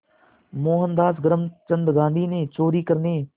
मोहनदास करमचंद गांधी ने चोरी करने